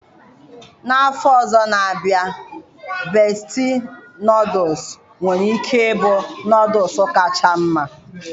N'afọ ọzọ na abịa besti nọọdụs nwere ike ịbụ nọọdụs kacha mma